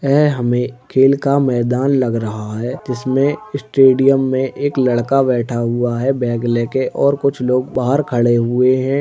है हमें खेल का मैदान लग रहा है जिसमें स्टेडियम में एक लड़का बैठा हुआ है बैग लेके और कुछ लोग बाहर खड़े हुए हैं।